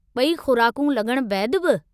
ब॒ई खु़राकूं लॻण बैदि बि।